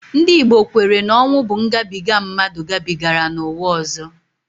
Ndị Igbo kwere na ọnwu bụ ngabiga mmadụ gabigara n'ụwa ọzọ